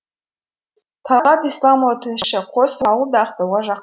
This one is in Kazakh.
талғат исламұлы тілші қос ауыл да ақтауға жақын тұр